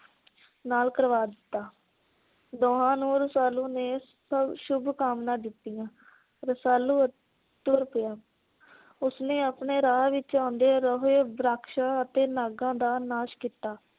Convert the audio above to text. ਨਾਲ ਕਰਵਾ ਦਿੱਤਾ। ਦੋਹਾਂ ਨੂੰ ਰਸਾਲੂ ਨੇ ਸ਼ੁਭ ਕਾਮਨਾ ਦਿਤੀਆਂ। ਰਸਾਲੂ ਅਹ ਤੁਰ ਪਿਆ। ਉਸ ਨੇ ਆਪਣੇ ਰਾਹ ਵਿਚ ਆਉਂਦੇ ਰੋਹੈ ਵਰਾਕਸ਼ਾ ਅਤੇ ਨਾਗਾ ਦਾ ਨਾਸ਼ ਕੀਤਾ